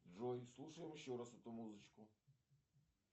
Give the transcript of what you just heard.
джой слушаем еще раз эту музычку